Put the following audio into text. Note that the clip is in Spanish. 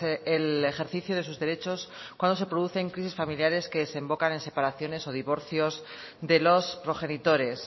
el ejercicio de sus derechos cuando se producen crisis familiares que desembocan en separaciones o divorcios de los progenitores